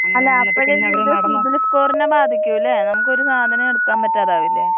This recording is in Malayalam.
അല്ല അപ്പഴ് ഇത് സിബിൽ സ്കോറിനെ ബാധിക്കൂലെ നമുക്ക് ഒരു സാധനം എടുക്കാൻ പറ്റാതാവില്ലേ.